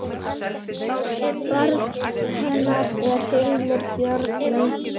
Barn hennar er Hilmir Bjarni.